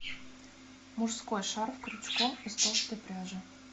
мужской шарф крючком из толстой пряжи